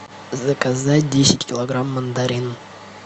заказать десять килограмм мандарин